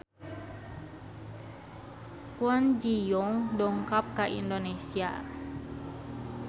Kwon Ji Yong dongkap ka Indonesia